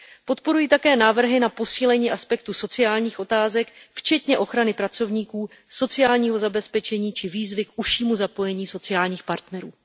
Podporuji také návrhy na posílení aspektů sociálních otázek, včetně ochrany pracovníků, sociálního zabezpečení či výzvy k užšímu zapojení sociálních partnerů.